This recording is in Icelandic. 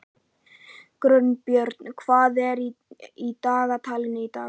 Gunnbjörn, hvað er í dagatalinu í dag?